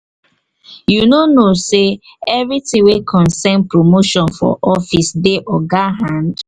you no know sey everytin wey concern promotion for office dey oga hand?